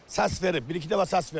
Səs verib, bir-iki dəfə səs verib.